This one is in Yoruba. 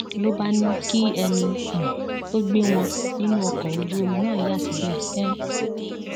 ló bá ní kí ẹni um tó gbé wọn nínú ọkọ ojúomi náà yà síbẹ um